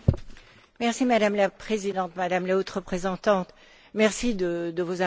Madame la Présidente, Madame la Haute représentante, merci pour vos informations.